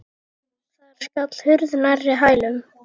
Þar skall hurð nærri hælum.